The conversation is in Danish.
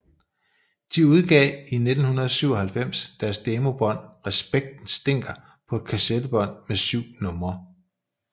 De udgav i 1997 deres demobånd Respekten Stinker på et kassettebånd med syv numre